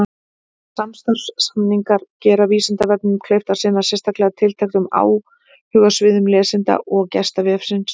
Samstarfssamningar gera Vísindavefnum kleift að sinna sérstaklega tilteknum áhugasviðum lesenda og gesta vefsins.